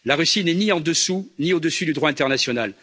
La Russie n'est ni en dessous ni au dessus du droit international.